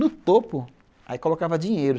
No topo, aí colocava dinheiro.